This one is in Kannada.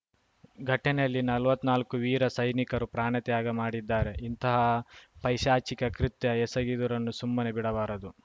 ಘಟನೆಯಲ್ಲಿ ನಲ್ವತ್ತನಾಲ್ಕು ವೀರ ಸೈನಿಕರು ಪ್ರಾಣತ್ಯಾಗ ಮಾಡಿದ್ದಾರೆ ಇಂತಹ ಪೈಶಾಚಿಕ ಕೃತ್ಯ ಎಸಗಿದವರನ್ನು ಸುಮ್ಮನೆ ಬಿಡಬಾರದು